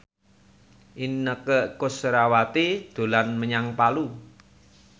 Inneke Koesherawati dolan menyang Palu